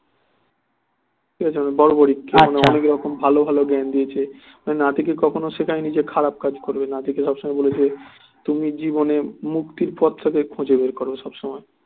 ঠিক আছে মানে বর্বরিকে অনেক রকম ভালো ভালো জ্ঞান দিয়েছে নাতিকে কখন ও শেখায় নি যে খারাপ কাজ করবে নাতিকে সব সময় বলেছে তুমি জীবনে মুক্তির পথ টাকে খোঁজো বের করো সব সময়